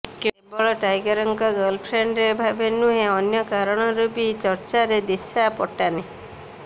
କେବଳ ଟାଇଗରଙ୍କ ଗର୍ଲଫ୍ରେଣ୍ଡ୍ ଭାବେ ନୁହେଁ ଅନ୍ୟ କାରଣରୁ ବି ଚର୍ଚ୍ଚାରେ ଦିଶା ପଟାନି